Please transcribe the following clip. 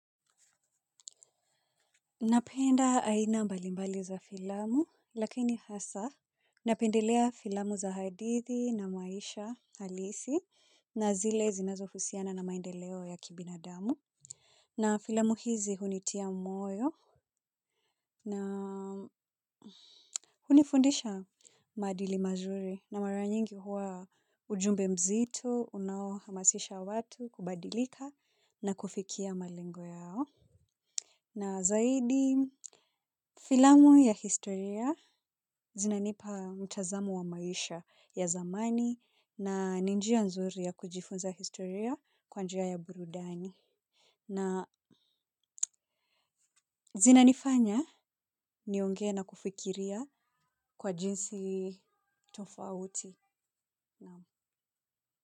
Napenda aina mbalimbali za filamu lakini hasa napendelea filamu za hadithi na maisha halisi na zile zinazohusiana na maendeleo ya kibinadamu. Na filamu hizi hunitia moyo na hunifundisha maadili mazuri na mara nyingi huwa ujumbe mzito unaohamasisha watu kubadilika na kufikia malengo yao. Na zaidi filamu ya historia zinanipa mtazamo wa maisha ya zamani na ni njia nzuri ya kujifunza historia kwa njia ya burudani. Na zinanifanya niongee na kufikiria kwa jinsi tofauti naam.